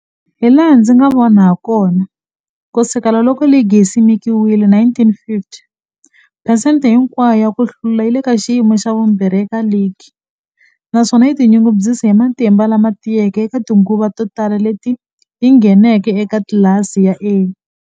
Hilaha ndzi nga vona hakona, ku sukela loko ligi yi simekiwile 1950, phesente hinkwayo ya ku hlula yi le ka xiyimo xa vumbirhi eka ligi, naswona yi tinyungubyisa hi matimba lama tiyeke eka tinguva to tala leti yi ngheneke eka tlilasi ya A.